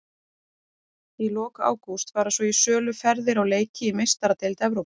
Í lok ágúst fara svo í sölu ferðir á leiki í Meistaradeild Evrópu.